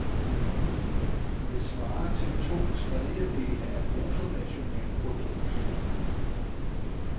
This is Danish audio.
Det svarer til to tredjedele af bruttonationalprodukt.